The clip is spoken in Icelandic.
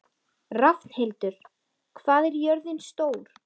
Rafnhildur, hvað er jörðin stór?